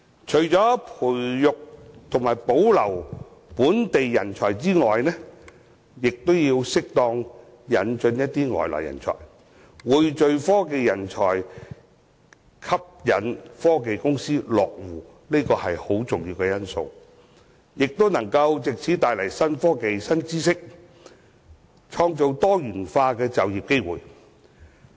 除培訓及保留本地人才外，亦要適當引入外來人才，匯聚科技人才，吸引科技公司落戶，這都很重要，亦可以藉此帶來新科技、新知識，並創造多元就業機會。